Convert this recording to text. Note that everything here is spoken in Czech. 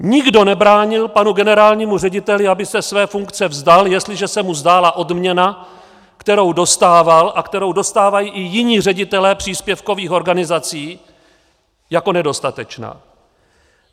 Nikdo nebránil panu generálnímu řediteli, aby se své funkce vzdal, jestliže se mu zdála odměna, kterou dostával a kterou dostávají i jiní ředitelé příspěvkových organizací, jako nedostatečná.